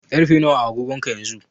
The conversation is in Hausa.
Ƙarfe nawa a agogonka yanzu?